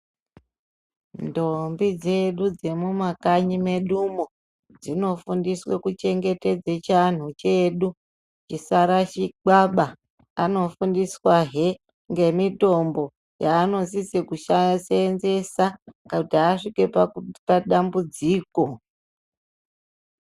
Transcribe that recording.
Ndombi dzedu dzemumwakanyi medumwo, dzinofundiswe kuchengetedze chianhu chedu chisarashikwaba. Anofundiswahe nemitombo yaanosise kuseenzesa kana asvike padambudziko.